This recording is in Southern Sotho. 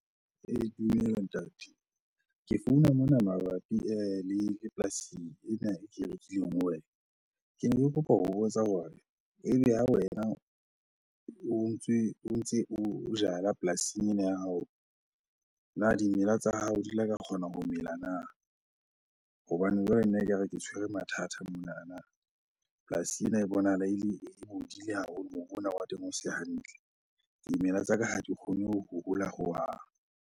Dumela ntate. Ke founa mona mabapi le polasi ena e ke e rekileng ho wena. Kene ke kopa ho botsa hore ebe ha wena o ntse o jala polasing ena ya hao na dimela tsa hao di la ka kgona ho mela na? Hobane jwale nna ekare ke tshwere mathata monana. Polasing ena e bonahala e le, e bodile haholo. Mobu ona wa teng o se hantle. Dimela tsa ka ha di kgone ho hola hohang.